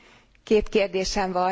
Két kérdésem van.